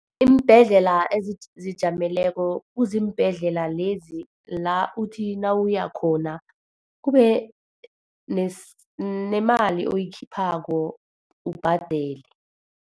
Iimbhedlela ezizijameleko kuziimbhedlela lezi la uthi nawuya khona, kube nemali oyikhiphako, ubhadele.